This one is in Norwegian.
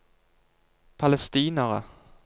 palestinere